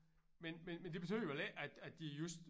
Men men men det betyder vel ikke at at de just